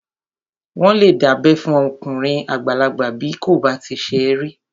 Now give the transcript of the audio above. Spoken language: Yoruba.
Wọ́n lè dábẹ́ fún okùnrin àgbàlagbà bí kò bá tíì ṣe rí